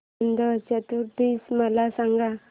अनंत चतुर्दशी मला सांगा